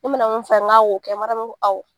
Ne mana mun f'a ye n k'a ko kɛ Mariyamu m'a fɔ awɔ.